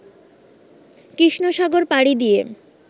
কৃষ্ণসাগর পাড়ি দিয়ে